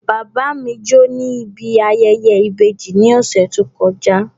Bàbá mi jó níbi ayẹyẹ ìbejì ní ọ̀sẹ̀ tó kọjá